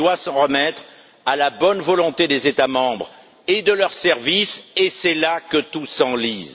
Elle doit s'en remettre à la bonne volonté des États membres et de leurs services, et c'est là que tout s'enlise.